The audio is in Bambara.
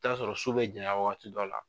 I t'a sɔrɔ su bɛ janya waati dɔw la.